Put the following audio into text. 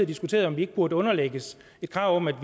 diskuteret om vi ikke burde underlægges et krav om at